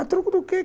A troca do quê?